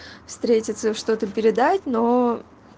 встретиться что-то передать но